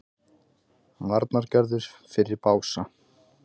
Varnargarður fyrir Bása